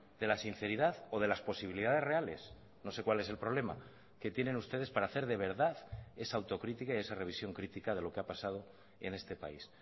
de la sinceridad o de las posibilidades reales no sé cuál es el problema que tienen ustedes para hacer de verdad esa autocrítica y esa revisión crítica de lo que ha pasado en este país